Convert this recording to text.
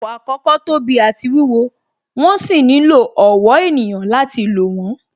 Àwọn ọkọ̀ àkọ́kọ́ tóbi àti wúwo, wón sì nílò ọ̀wọ́ ènìyàn láti lò wón